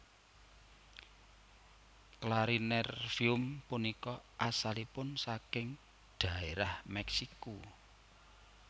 Clarinervium punika asalipun saking dhaérah Meksiko